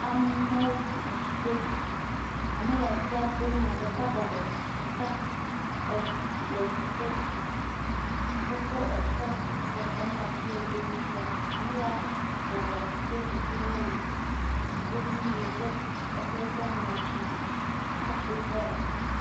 Amewo ati dom. Ame ya atia dom maa, ɖeka bɔbɔ le dziƒo. Wo kɔ ekema kɔkɔm ɖe ati ya dom wole la ŋuti. Ame ya bɔbɔa, wò Do dziƒo yelo, wodo nu yike exe eƒe ŋuti. Eƒo yi ƒe ɖa.